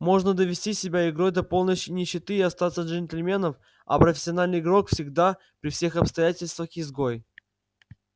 можно довести себя игрой до полной нищеты и остаться джентльменом а профессиональный игрок всегда при всех обстоятельствах изгой